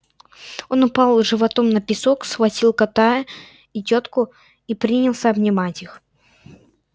он упал животом на песок схватил кота и тётку и принялся обнимать их